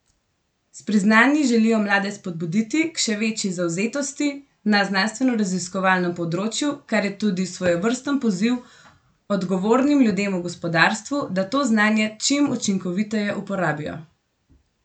S priznanji želijo mlade spodbuditi k še večji zavzetosti na znanstvenoraziskovalnem področju, kar je tudi svojevrsten poziv odgovornim ljudem v gospodarstvu, da to znanje čim učinkoviteje uporabijo.